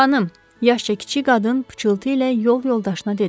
yaşca kiçik qadın pıçıltı ilə yol yoldaşına dedi.